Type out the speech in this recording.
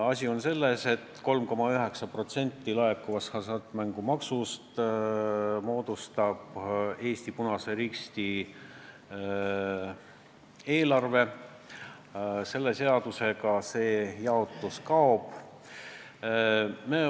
Asi on selles, et seni moodustab 3,9% laekuvast hasartmängumaksust Eesti Punase Risti eelarve, eelnõu kohaselt see jaotus kaob.